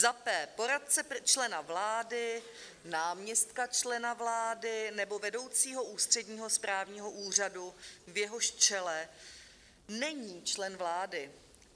Za p) poradce člena vlády, náměstka člena vlády nebo vedoucího ústředního správního úřadu, v jehož čele není člen vlády.